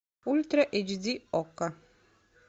ультра эйч ди окко